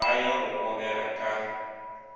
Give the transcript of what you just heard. be ya go kobega ka